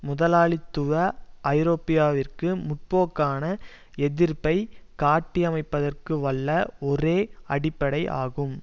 முதலாளித்துவ ஐரோப்பியாவிற்கு முற்போக்கான எதிர்ப்பை காட்டியமைப்பதற்கு வல்ல ஒரே அடிப்படை ஆகும்